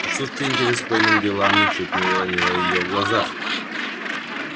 отсутствие интереса к военным делам ничуть не уронило её в глазах